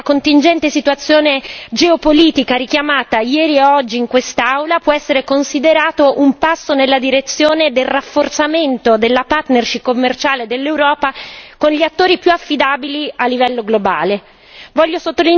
Anche alla luce della contingente situazione geopolitica richiamata ieri e oggi in quest'Aula, può essere considerato un passo nella direzione del rafforzamento della partnership commerciale dell'Europa con gli attori più affidabili a livello globale.